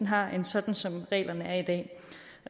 har end sådan som reglerne er i dag